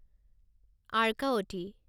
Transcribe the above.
Arkavati